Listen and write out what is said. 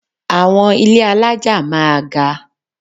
Àwọn ilé alájà máa ga.